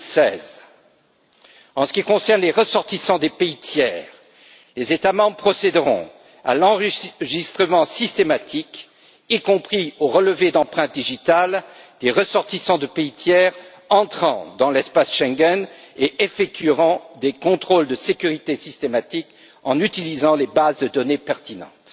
2016. En ce qui concerne les ressortissants des pays tiers, les États membres procéderont à l'enregistrement systématique, y compris au relevé d'empreintes digitales, des ressortissants de pays tiers entrant dans l'espace Schengen, et effectueront des contrôles de sécurité systématiques en utilisant les bases de données pertinentes.